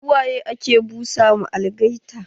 Su waye ake busa ma algaita?